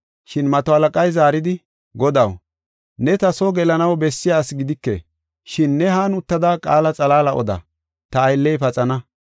Shin mato halaqay zaaridi, “Godaw, ne ta soo gelanaw bessiya asi gidike, shin ne han uttada qaala xalaala oda, ta aylley paxana.